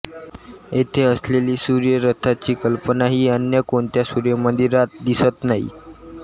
येथे असलेली सूर्यरथाची कल्पना ही अन्य कोणत्या सूर्यमंदिरात दिसत नाही